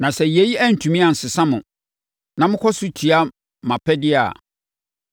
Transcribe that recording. “ ‘Na sɛ yei antumi ansesa mo, na mokɔ so tia mʼapɛdeɛ a,